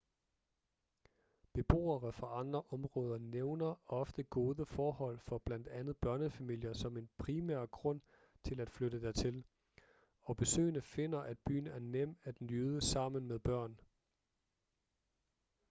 beboere fra andre områder nævner ofte gode forhold for blandt andet børnefamilier som en primær grund til at flytte dertil og besøgende finder at byen er nem at nyde sammen med børn